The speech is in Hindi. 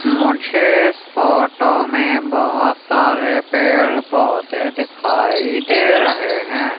मुझे इस फोटो में बहोत सारे पेड़ पौधे दिखाई दे रहे है।